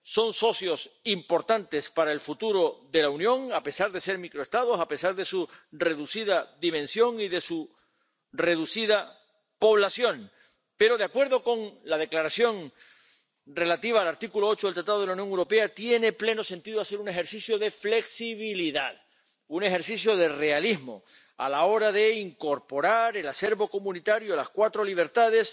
Son socios importantes para el futuro de la Unión, a pesar de ser microestados, a pesar de su reducida dimensión y de su reducida población. Pero de acuerdo con la Declaración relativa al artículo 8 del Tratado de la Unión Europea, tiene pleno sentido hacer un ejercicio de flexibilidad, un ejercicio de realismo a la hora de incorporar el acervo comunitario ―las cuatro libertades